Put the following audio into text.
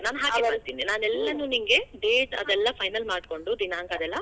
ನಾನ್ ನಾನ್ ಎಲ್ಲಾನು ನಿಂಗೆ, date ಅದೆಲ್ಲಾ final ಮಾಡ್ಕೋಂಡು, ದಿನಾಂಕಾ ಅದೆಲ್ಲಾ.